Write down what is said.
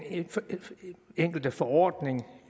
enkelte forordning